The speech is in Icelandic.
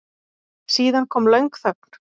Síðan kom löng þögn.